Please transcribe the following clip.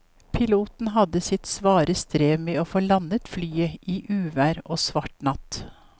Piloten hadde sitt svare strev med å få landet flyet i uvær og svart natt.